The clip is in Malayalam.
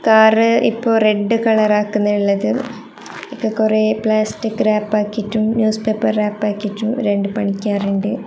കാറ് ഇപ്പൊ റെഡ് കളർ ആക്കുന്നെയാള്ളത് ഇത് കൊറേ പ്ലാസ്റ്റിക് റാപ് ആക്കീട്ടും ന്യൂസ് പേപ്പർ റാപ്പ് ആക്കീട്ടും രണ്ട് പണിക്കാരുണ്ട്.